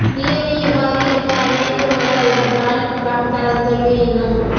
நிலைமை இவ்வாறு இருக்க அமெரிக்க முன்னாள் அதிபர் டொனால்டு டிரம்ப் தனது தோல்வியை இன்னும்